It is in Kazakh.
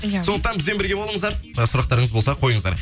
иә сондықтан бізбен бірге болыңыздар сұрақтарыңыз болса қойыңыздар